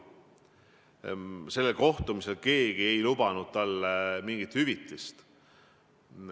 Sellel kohtumisel ei lubanud keegi talle mingit hüvitist.